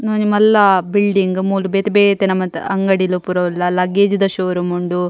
ಉಂದು ಒಂಜಿ ಮಲ್ಲ ಬಿಲ್ಡಿಂಗ್ ಮೂಲು ಬೆತೆ ಬೇತೆ ನಮುನ್ತ ಅಂಗಡಿಲು ಪೂರ ಉಲ್ಲ ಲಗೇಜ್ದ ಶೋರೂಮ್ ಉಂಡು.